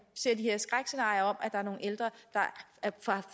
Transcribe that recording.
ser de her skrækscenarier af nogle ældre der